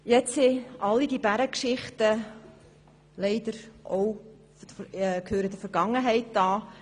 Nun gehören leider auch alle diese Bärengeschichten der Vergangenheit an.